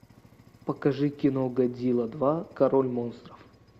покажи кино годзилла два король монстров